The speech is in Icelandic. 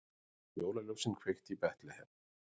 Jólaljósin kveikt í Betlehem